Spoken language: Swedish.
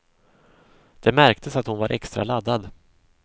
Det märktes att hon var extra laddad.